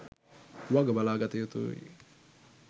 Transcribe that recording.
වගබලා ගතයුතු යි.